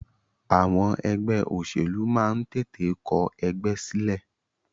Àwọn ẹgbẹ́ òṣèlú máa ń tètè kọ ẹgbẹ́ sílẹ̀.